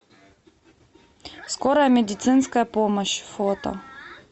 скорая медицинская помощь фото